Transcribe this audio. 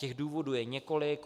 Těch důvodů je několik.